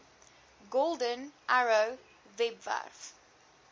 golden arrow webwerf